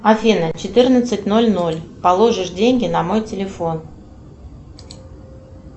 афина четырнадцать ноль ноль положишь деньги на мой телефон